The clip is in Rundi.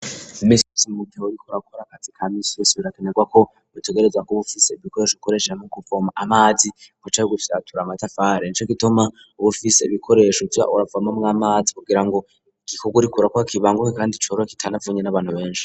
Iminsi mu gihe uriko urakora akazi kaminsi birakenerwa ko butegereza ko bufise ibikoresho gikoreshe mu kuvoma amazi kucari gufyatura amatafari ninaci gituma ubufise ibikoresho ca uravamamwo 'amazi kugira ngo igikugurikura kwa kibanguhe kandi corro kitanavunye n'abantu benshi.